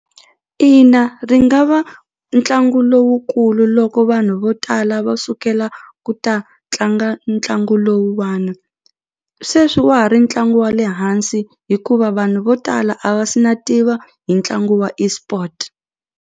Ina ri nga va ntlangu lowukulu loko vanhu vo tala va sukela ku ta tlanga ntlangu lowuwani sweswi wa ha ri ntlangu wa le hansi hikuva vanhu vo tala a va se na tiva hi ntlangu wa eSport.